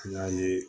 N y'a ye